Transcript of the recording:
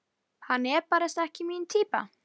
Kók takk, ef þú átt það til!